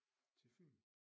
Til Fyn